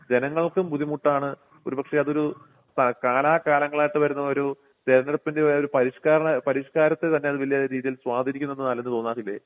ജനങ്ങൾക്കും ബുദ്ധിമുട്ടാണ് ഒരു പക്ഷേ അതൊരു പ കാലാകാലങ്ങളായിട്ട് വരുന്ന ഒരു തെരഞ്ഞെടുപ്പിൻ്റെ ഒരു പരിഷ്കരണ പരിഷ്കാരത്തെ തന്നെ അത് വലിയ രീതിയിൽ സ്വാധീനിക്കുന്നുവെന്ന് അലന് തോന്നാറില്ലേ?